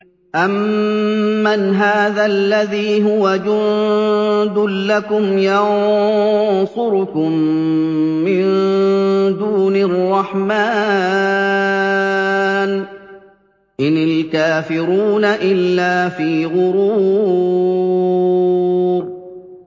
أَمَّنْ هَٰذَا الَّذِي هُوَ جُندٌ لَّكُمْ يَنصُرُكُم مِّن دُونِ الرَّحْمَٰنِ ۚ إِنِ الْكَافِرُونَ إِلَّا فِي غُرُورٍ